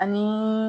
Ani